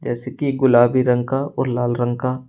इसकी गुलाबी रंग का और लाल रंग का--